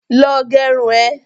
Lọ gerun ẹ!